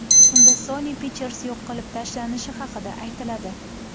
Unda Sony Pictures yo‘q qilib tashlanishi haqida aytiladi.